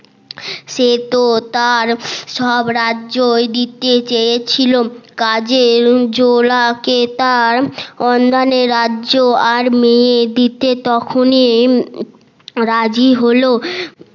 সে তো তার সব রাজ্যই দিতে চেয়েছিল কাজে জোলা কে তার রাজ্য আর মেয়ে দিতে রাজি হলো